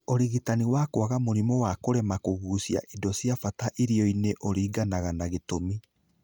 Ũrigitani wa kwaga mũrimũ wa kũremo kũgucia indo cia bata irionĩ ũriganaga na gĩtũmi.